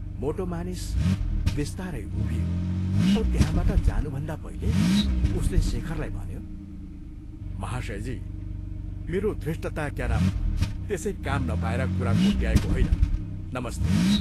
मोटो मानिस बिस्तारै उभियो औ त्यहाँबाट जानुभन्दा पहिले उसले शेखरलाई भन्यो, "महाशयजी, मेरो धृष्टता क्या नाम त्यसै काम नपाएर कुरा कोट्ट्याएको होइन नमस्ते।